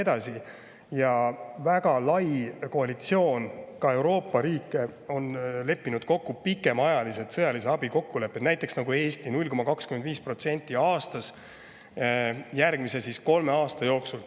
Ka Euroopa riikide väga lai koalitsioon on leppinud kokku selles, et pikaajaliselt tagada sõjalist abi, nagu Eesti 0,25% kohta aastas järgmise kolme aasta jooksul.